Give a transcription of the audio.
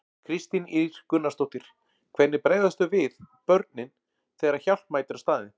Kristín Ýr Gunnarsdóttir: Hvernig bregðast þau við, börnin, þegar að hjálp mætir á staðinn?